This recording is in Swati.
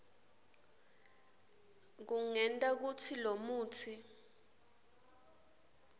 kungenta kutsi lomutsi